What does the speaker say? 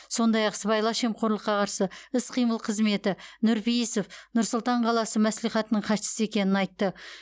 сондай ақ сыбайлас жемқорлыққа қарсы іс қимыл қызметі нұрпейісов нұр сұлтан қаласы мәслихатының хатшысы екенін айтты